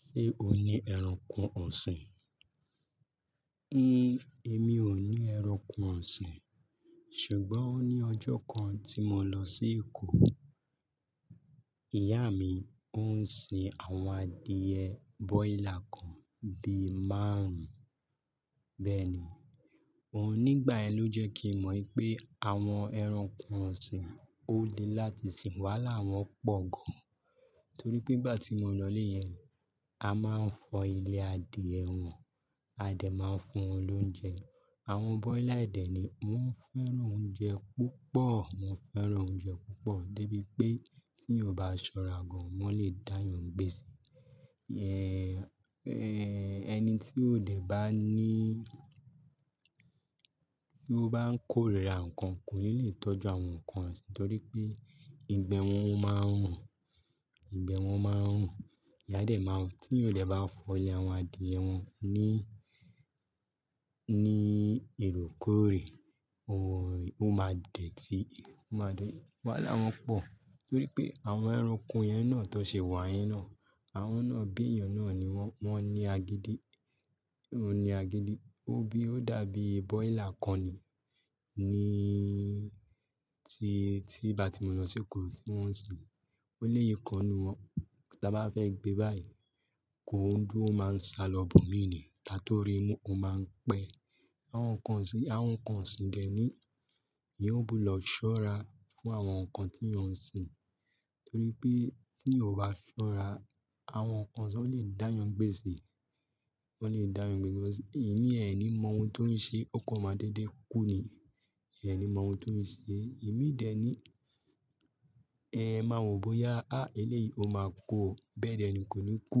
Ṣé o ní ẹranko ọ̀sìn? Ní, èmi ò ní ẹranko ọ̀sìn. Ṣùgbọ́n ó ní ọjọ́ kan tí mo lọ sí Èkó, ìyá mi ó ń sin àwọn adìẹ broiler kan bí i márùn. Bẹ́ẹ̀ni, òhun nígbà yẹn ló jẹ́ kí n mọ̀ wípé àwọn ẹranko ọ̀sìn ó le láti sìn. Wàhálà wọ́n pọ̀ gan. Torí pé ngbà tí mo lọ ilé yẹn, a máa ń fọ ilé adìẹ wọn, Adé máa ń fún wọn lóúnjẹ. Àwọn broiler dẹ̀ ni. Wọ́n fẹ́ràn oúnjẹ púpọ̀, wọ́n fẹ́ràn oúnjẹ púpọ̀. Dé bí pé tí èèyàn ò bá ṣọ́ra gan, wọ́n lè dá èèyàn n gbèsè. Ẹni tí ó dé bá ni tí ó bá ń kórira ǹkan kò ní lè tọ́jú àwọn ǹkan ọ̀sìn torí pé ìgbẹ́ wọn ó máa ń rùn, ìgbẹ́ wọn máa ń rùn. Ìyá a dé máa ń-- tí ó dẹ̀ bá fọ ilé àwọn adìẹ wọn ní, ní oorekoórè, ó máa dẹ̀ti, ó máa dẹ̀. Wàhálá wọ́n pọ̀. Torí pé àwọn ẹranko yẹn náà tí wọ́n ṣe wà yẹn náà, àwọn náà bí èèyàn náà ni wọ́n, wọ́n ní agídí. Wọ́n ní agídí. Ó bí, ó dàbí broiler kan ni. Ni tí, tí ìgbà tí mo lọ sí Èkó tí wọ́n ń sin. Ó léyi kan n nù wọ́n. Tá bá fẹ́ gbé báyìí, kòin dúró ó máa ń salọ ibòmíì ni. Kátó rí mu, ó máa ń pẹ́. Àwọn ǹkan ọ̀sìn yì, àwọn ǹkan ọ̀sìn dẹ̀ ní, èèyàn gbúdọ̀ ṣọ́ra fún àwọn ǹkan tí èèyàn ń sin. Torí pé tí èèyàn ò bá ṣọ́ra, àwọn ǹkan ọ̀sìn ò lè dá èèyàn n gbèsè, ó lè dá èèyàn n gbèsè cause ìmí e ni mo nti ọn ṣe ó kan máa dédé kú ni ẹ̀ ní mọ ohun tó ń ṣe. Ìmí dẹ̀ ni, ẹ máa wò bóyá, há eléyìí ó máa kú ó. Bẹ́ẹ̀ dẹ̀ ni kò ní kú,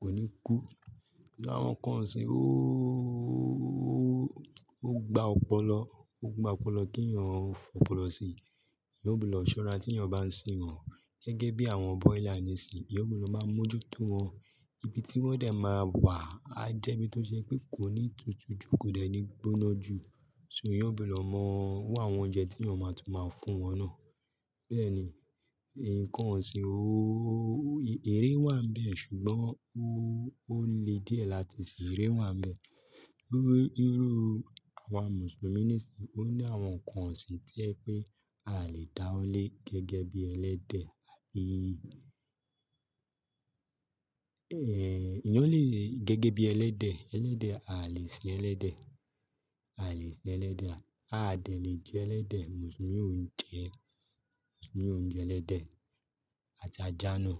kò ní kú. Àwọn ǹkan ọ̀sìn ó, ó gba ọpọlọ, ó gba ọpọlọ kí èèyàn ó fi ọpọlọ síi. Èèyàn gbúdọ̀ ṣọ́ra tí èèyàn bá ń sin wọ́n. Gẹ́gẹ́ bí àwọn broiler nìísìn, èèyàn gbúdọ̀ máa mójútó wọn. Ibi tí wọn dẹ̀ máa wà á jẹ́ ibi tó jẹ́ pé kò ní tútù jù, kò dẹ̀ ní gbóná jù. Ṣó èèyàn gbúdọ̀ mọ́ irú àwọn oúnjẹ tí èèyàn máa tún máa fún wọn náà. Bẹ́ẹ̀ni, ǹkan ọ̀sìn ó, eré wà n bẹ́ẹ̀ ṣùgbọ́n ó lè díẹ̀ láti ṣe. Eré wà bẹ́ẹ̀. Irú àwa Mùsùlùmí nìísìn, ó ní àwọn ǹkan ọ̀sìn tó jẹ wípé a lè dá wọ́ lé gẹ́gẹ́ bí ẹlẹ́dẹ̀ ẹ̀èyán lè gẹ́gẹ́ bí ẹlẹ́dẹ̀. Ẹlẹ́dẹ̀, a lè sin ẹlẹ́dẹ̀, a lè sin ẹlẹ́dẹ̀. A dẹ̀ lè jẹ ẹlẹ́dẹ̀. Mùsùlùmí ò ń jẹ, Mùsùlùmí ò ń jẹ ẹlẹ́dẹ̀ àti ajá náà.